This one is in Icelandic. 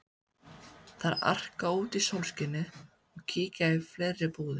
Þær arka út í sólskinið og kíkja í fleiri búðir.